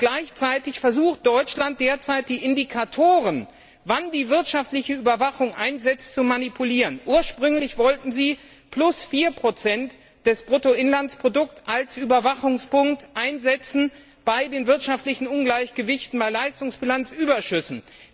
Gleichzeitig versucht Deutschland derzeit, die Indikatoren, wann die wirtschaftliche Überwachung einsetzt, zu manipulieren. Ursprünglich wollten Sie plus 4 des Bruttoinlandsprodukts als Überwachungspunkt einsetzen bei den wirtschaftlichen Ungleichgewichten, bei Leistungsbilanzüberschüssen.